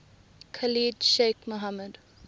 khalid sheikh mohammed